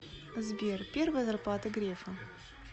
сбер первая зарплата грефа